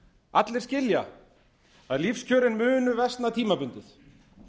allir skilja að lífskjörin munu versna tímabundið